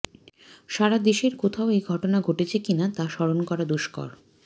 সারা দেশের কোথাও এ ঘটনা ঘটেছে কিনা তা স্মরণ করা দুষ্কর